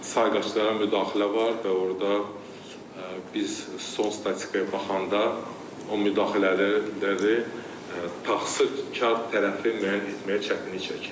sayğaclara müdaxilə var və orda biz son statistikaya baxanda o müdaxilə tərəfi təsirkar tərəfi müəyyən etməyə çətinlik çəkirik.